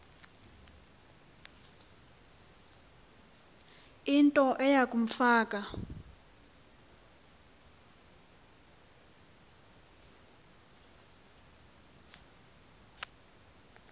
into eya kumfaka